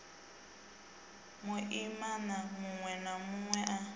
muimana munwe na munwe a